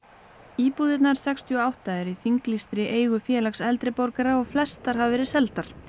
íbúðirnar sextíu og átta eru í þinglýstri eigu Félags eldri borgara og flestar hafa verið seldar